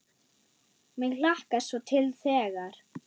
Mig hlakkar svo til þegar.